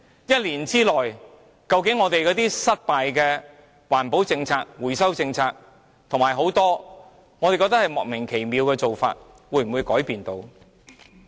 一年之內，我們失敗的環保政策、回收政策，以及很多我們覺得莫名其妙的做法，會否改變呢？